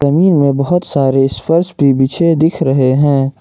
जमीन में बहोत सारे स्पर्श भी बिछे दिख रहे हैं।